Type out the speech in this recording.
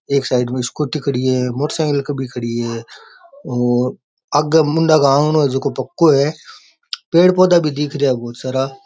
एक साइड में स्कूटी खड़ी है मोटरसाइकिल भी खड़ी है और आगे मुंडाके आंगणो है जकाे पक्कॉ है पेड़ पौधा भी दिख रेहा है बहुत सारा।